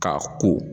K'a ko